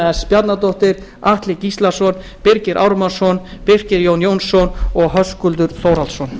s bjarnadóttir atli gíslason birgir ármannsson birgir jón jón jónsson og höskuldur þórhallsson